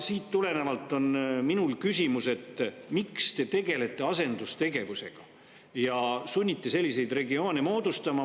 Siit tulenevalt on mul küsimus, miks te tegelete asendustegevusega ja sunnite selliseid regioone moodustama.